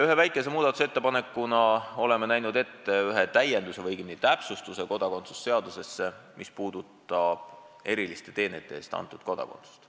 Ühe väikese muudatusettepanekuna oleme näinud ette kodakondsuse seadusesse ühe täienduse või õigemini täpsustuse, mis puudutab eriliste teenete eest antud kodakondsust.